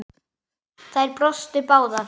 Þær brostu báðar.